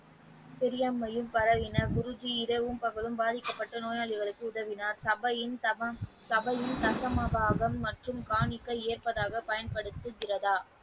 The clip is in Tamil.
பெரியாமையில் பரவினர் குருஜி இரவும் பகலும் பாதிக்கப்பட்ட நோயாளிகளுக்கு உதவினார் சபையில் சமம் சபையின் சந்தமாகவும் மற்றும் காணிக்கை ஏற்பதாக பயன்படுத்திய பிறகு.